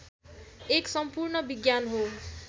एक सम्पूर्ण विज्ञान हो